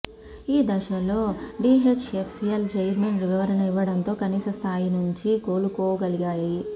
ఈదశలో DHFL chairman వివరణ ఇవ్వడంతో కనీస స్థాయి నుంచి కోలుకోగలిగాయి